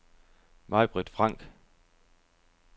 Majbrit Frank